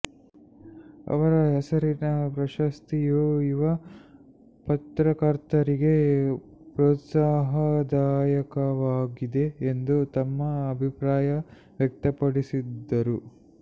ಅವರ ಹೆಸರಿನ ಪ್ರಶಸ್ತಿಯು ಯುವ ಪತ್ರಕರ್ತರಿಗೆ ಪ್ರೋತ್ಸಾಹದಾಯಕವಾಗಿದೆ ಎಂದು ತಮ್ಮ ಅಭಿಪ್ರಾಯ ವ್ಯಕ್ತಪಡಿಸಿದರು